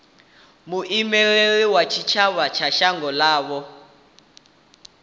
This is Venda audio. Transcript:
muimeli wa tshitshavha wa shango ḽavho